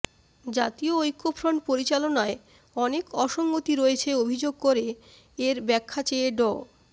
জাতীয় ঐক্যফ্রন্ট পরিচালনায় অনেক অসঙ্গতি রয়েছে অভিযোগ করে এর ব্যাখা চেয়ে ড